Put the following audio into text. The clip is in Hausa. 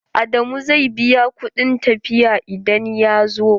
Adamu zai biya kuɗin tafiya idan ya zo.